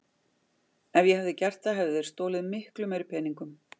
Ef ég hefði gert það hefðu þeir stolið miklu meiri peningum.